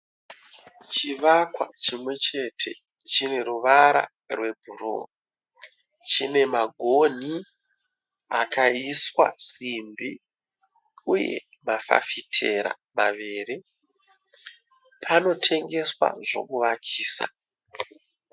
Chivakwa chimwe chete chine ruvara rwebhuruu. Chine magonhi akaiswa simbi uye mafafitera maviri. Panotengeswa zvokuvakisa.